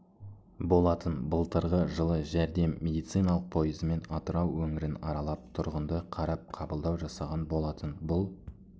болатын былтырғы жылы жәрдем медициналық пойызымен атырау өңірін аралап тұрғынды қарап қабылдау жасаған болатын бұл